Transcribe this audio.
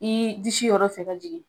I disi yɔrɔ fɛ ka jigin.